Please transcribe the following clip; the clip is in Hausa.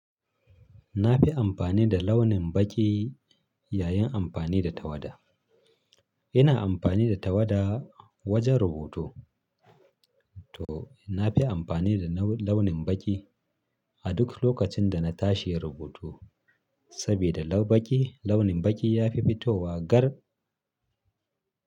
Na fi amfani da launin baƙi yayin amfani da tawada. Ina amfani da tawada wajen rubutu to nafi amfani da launin baƙi a duk lokacin da na tashi yin rubutu sabida launin baƙi ya fi fitowa gar.